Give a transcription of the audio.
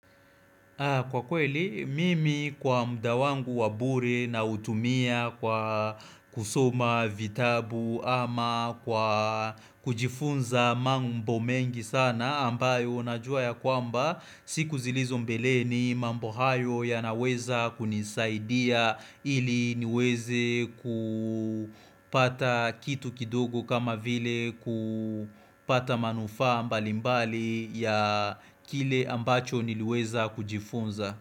Kwa kweli, mimi kwa mda wangu wa bure nautumia kwa kusoma vitabu ama kwa kujifunza mambo mengi sana ambayo najua ya kwamba siku zilizo mbeleni mambo hayo yanaweza kunisaidia ili niweze ku pata kitu kidogo kama vile ku pata manufaa mbalimbali ya kile ambacho niliweza kujifunza.